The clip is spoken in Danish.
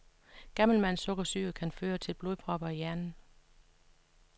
Gammelmandssukkersyge kan føre til blodpropper i hjernen.